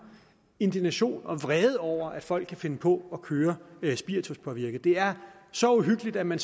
indignation og vrede over at folk kan finde på at køre spirituspåvirket det er så uhyggeligt at man